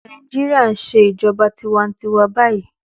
Nàìjíríà ń ṣe ìjọba tiwa-n-tiwa báyìí.